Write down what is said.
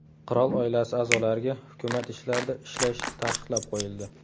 Qirol oilasi a’zolariga hukumat ishlarida ishlash taqiqlab qo‘yildi .